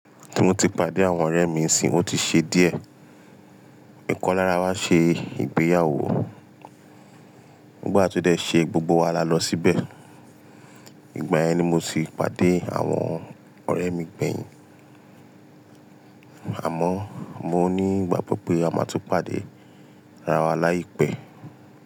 Tí mo ti pàdé àwọn ọ̀rẹ́ mi isin, ó ti ṣe díẹ̀. Ìkan lára wa ṣe ìgbéyàwó. Nígbà tí ó dẹ ṣe, gbogbo wa lọ síbẹ̀. Ìgbà yẹn ni mo ti pàdé àwọn ọ̀rẹ́ mi gbẹ̀yìn. Àmọ́ mo ní ìgbàgbọ́ pé a máa tun pàdé ara wa láìpẹ́.